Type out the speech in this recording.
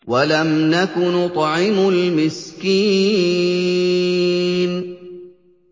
وَلَمْ نَكُ نُطْعِمُ الْمِسْكِينَ